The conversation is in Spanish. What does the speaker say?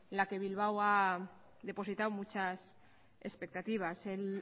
la que bilbao ha depositado muchas expectativas el